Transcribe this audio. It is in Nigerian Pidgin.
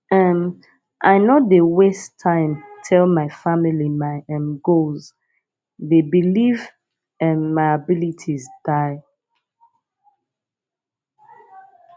um i no dey waste time tell my family my um goals dey believe um my abilities die